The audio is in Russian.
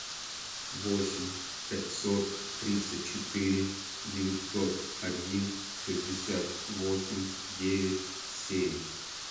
восемь пятьсот тридцать четыре девятьсот один шестьдесят восемь девять семь